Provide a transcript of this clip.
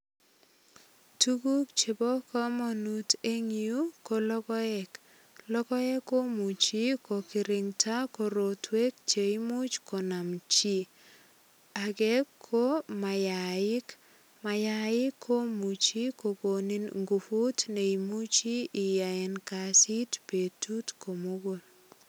Tukuk chebo kamanut eng yu ko logoek. Logoek komuchi ko kirinda korotwek che imuch konam chi. Age ko mayaik, mayaik komuchi kogonit nguvut ne muchi iyaen kasit betut komugul.